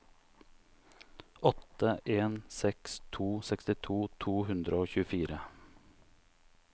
åtte en seks to sekstito to hundre og tjuefire